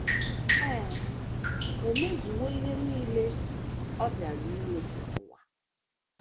Ee, o mezuwo ihe nile ọ bịara ime n’ụwa.